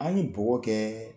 An ni bɔgɔ kɛɛ